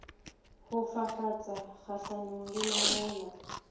ho fafatsa kgahlanong le mahola